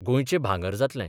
गोंयचें भांगर जातलें.